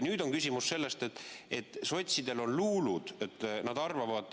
Nüüd on küsimus selles, et sotsidel on luulud.